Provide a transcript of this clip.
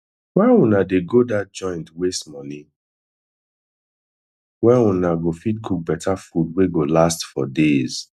why una dey go dat joint waste money wen una go fit cook beta food wey go last for days